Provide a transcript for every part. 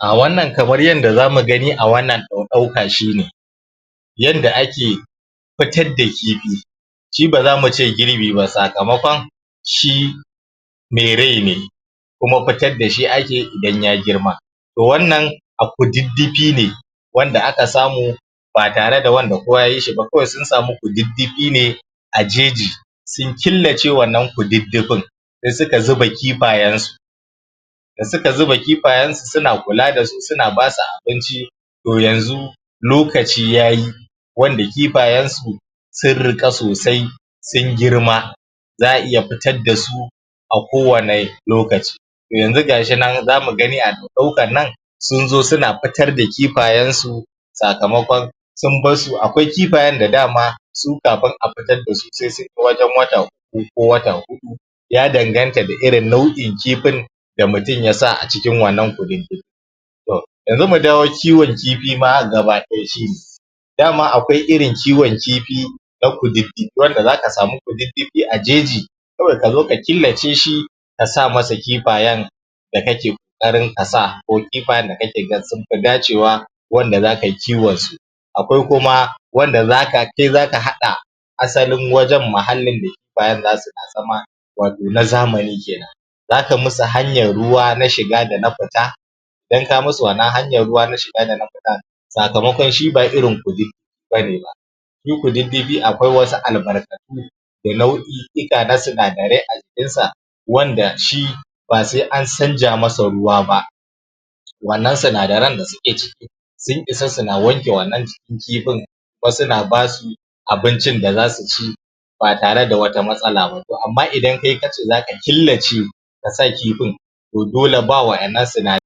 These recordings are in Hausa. Wannan kamar yadda za mu gani a wannan ɗauka shine, yadda ake fitar da kifi shi ba za mu ce girbi ba sakamakon shi mai rai ne kuma fitar da shi ake idan ya girma to wannan a kududdufi ne wanda aka samu batarewa da wanda kowa yayi sh ba, kawai sun sami kududufi ne a jeji sun killace wannan kududdufin sai suke zuba kifayen su da suka zuba kifayensu suna kula da su suna ba su abinci to yanzu lokaci yayi wanda kifayensu sun riƙa sosai sun girma, za'a iya fitar da su a kowanne lokaci. To yanzu ga shi nan zamu gani a wannan ɗaukan sun zo suna fitar da kifayensu sakamakon sun barsu, akwai kifayen da dama su kafin a fitar da su sai sun kai wajen wata uku ko wata huɗu, ya danganta ga irin nau'in kifin da mutum y sa a cikin wannan kududdufi. To, yanzu mu dawo ma kiwon kifi gaba ɗaya shi da ma akwai irin kiwon kifi na kududdufi, wanda zaka sami kududdufi a jeji saboda ka zo ka killace shi ka sa masa kifayen da kake ƙoƙarin ka sa, ko kifayen da kake ga sunfi dacewa wanda a kai kiwon su. Akwai kuma wanfda kai zaka haƙa asalin wajen, muhallin da kifayen za su na zama wato na zamani kenan. Za ka musu hanyar ruwa na shiga da na fita idan ka musu wannan hanya na shiga dana fita sakamakon shi ba irin kududdufi bane ba. Shi kududdufi, akwai wasu albarkatu da nau'i'ika na sinadarai a jkinsa wanda shi ba sai canza masa ruwa ba. Wannan sinadaran da suke ciki sun isa suna wanke annan kifin kuma suna basu abincin da za su ci ba tare da wata matsala ba to amma idan kai kace za ka killace ka sa kifin to dole ba waɗannan sinadaran.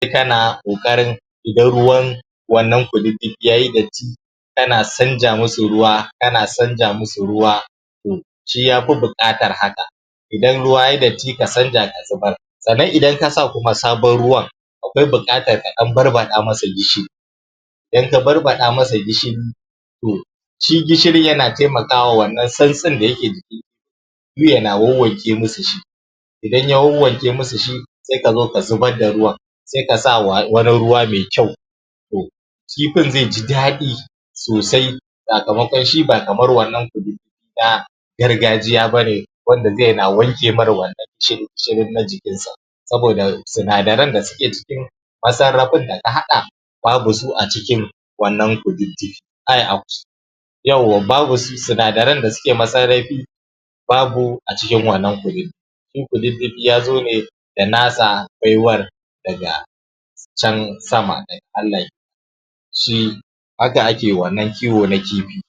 Sai kana ƙoƙarin idan ruwan wannan kududdufi ya yi datti, tana canjamusun ruwa, tana canja musu ruwa to shi ya fi buƙatar haka, idan ruwa yai datti ka canja ka zubar. Sannan idan ka sa kuma sabon ruwan akwai buƙatar ka lan barbaɗa masa gishiri, idan ka barbaɗa masa gishiri, to, shi gshirin yana taimakawa wannan santsin da yake jiki yana wananke musu shi. Idan ya wanwanke musu shi sai ka o ka zubar da ruwan sai ka sa wani ruwa maikyau. To, kifin zai ji daɗi sosai sakamakon shi ba kamar wannan kududdufi ba na gargajiya bane wanda zai na wanke mar wannan gishirin na jikinsa. Saboda sinadaran da suke cikin masarafin da ka haɗa ba bu su a cikin wannan kududdufi, Yawwa babu sinadaran da suke masarafi babu a cikin wannan kududdufi shi kududdufi ya zo ne da nasa baiwar daga can sama, daga Allah kenan. shi haka ake wannan kiwo na kifi.